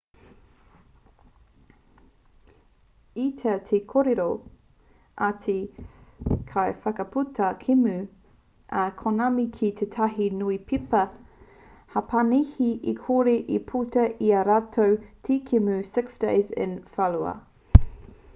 i tau te kōrero a te kaiwhakaputa kēmu a konami ki tētahi niupepa hapanihi e kore e puta i ā rātou te kēmu six days in fallujah